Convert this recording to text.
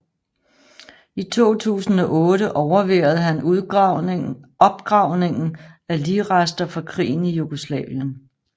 I 2008 overværede han opgravningen af ligrester fra krigen i Jugoslavien